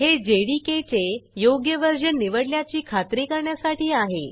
हे जेडीके चे योग्य व्हर्जन निवडल्याची खात्री करण्यासाठी आहे